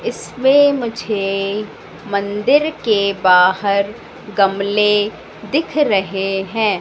इसमें मुझे मंदिर के बाहर गमले दिख रहे हैं।